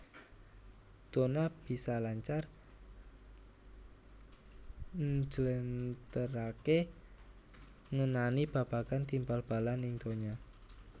Donna bisa lancar njléntréhaké ngenani babagan tim bal balan ing donya